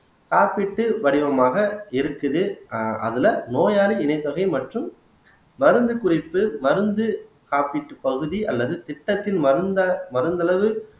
காப்பீட்டு வடிவமாக இருக்குது ஆஹ் அதுல நோயாளி இணைத்தொகை மற்றும் மருந்து குறிப்பு மருந்து காப்பீட்டுப் பகுதி அல்லது திட்டத்தின் மருந்த மருந்தளவு